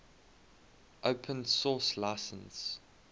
open source license